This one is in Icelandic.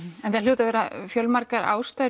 en það hljóta að vera fjölmargar ástæður